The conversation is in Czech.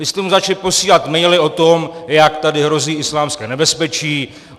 Vy jste mu začali posílat maily o tom, jak tady hrozí islámské nebezpečí.